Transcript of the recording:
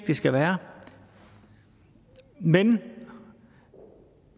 det skal være men